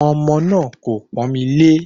Ọmọ náà kò pọ́n mi lé